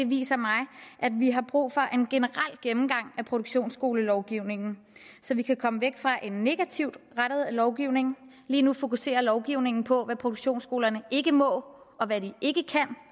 viser mig at vi har brug for en generel gennemgang af produktionsskolelovgivningen så vi kan komme væk fra en negativt rettet lovgivning lige nu fokuserer lovgivningen på hvad produktionsskolerne ikke må og hvad de ikke